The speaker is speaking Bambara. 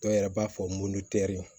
Dɔw yɛrɛ b'a fɔ